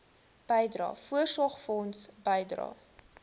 bydrae voorsorgfonds bydrae